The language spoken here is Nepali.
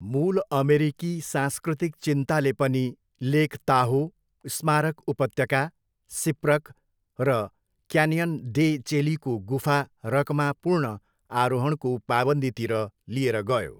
मूल अमेरिकी सांस्कृतिक चिन्ताले पनि लेक ताहो, स्मारक उपत्यका, सिप्रक र क्यान्यन डे चेलीको गुफा रकमा पूर्ण आरोहणको पाबन्दीतिर लिएर गयो।